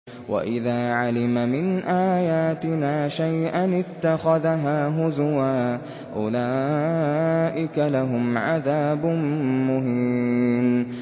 وَإِذَا عَلِمَ مِنْ آيَاتِنَا شَيْئًا اتَّخَذَهَا هُزُوًا ۚ أُولَٰئِكَ لَهُمْ عَذَابٌ مُّهِينٌ